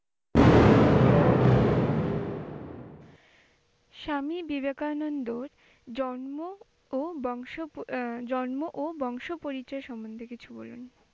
স্বামী বিবেকানন্দর জন্ম ও বংশ এ~জন্ম ও বংশ পরিচয় সম্বন্ধে কিছু বলুন?